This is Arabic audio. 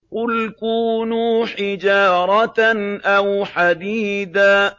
۞ قُلْ كُونُوا حِجَارَةً أَوْ حَدِيدًا